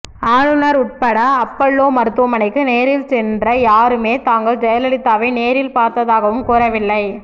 ஆளுநர் உட்பட அப்பல்லோ மருத்துவமனைக்கு நேரில் சென்ற யாருமே தாங்கள் ஜெயலலிதாவை நேரில் பார்த்ததாகவும் கூறவில்லை